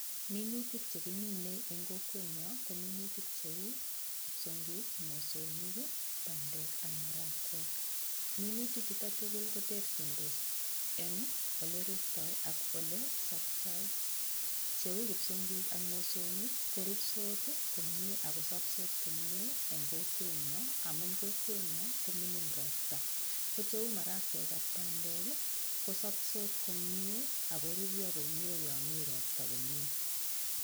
Minutik chekimin en kowenyon ko minutik cheu kipsonkik, mosongik, pandek ak marakwek, minutik chutok tukul koterchitos en ole rurto ak ole sopto cheu kipsongik ak mosongik korurtos komie ak soptos komie en kokwenyonm amun kokwenyon komingin ropta ko cheu marakwek ak pandek kosoptos komie ak koruryo komie yon mii ropta komie.